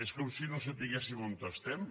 és com si no sabéssim on estem